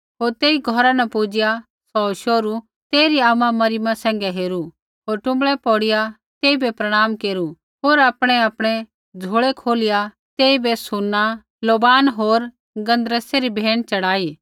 होर तेई घौरा न पुजिआ सौ शोहरू तेइरी आमा मरियमा सैंघै हेरू होर टुँबड़ै पौड़िया तेइबै प्रणाम केरु होर आपणैआपणै झोल़ै खोलिया तेइबै सूना लोबान होर गन्धरसै री भेंट च़ढ़ाई